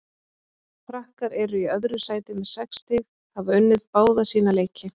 Frakkar eru í öðru sæti með sex stig hafa unnið báða sína leiki.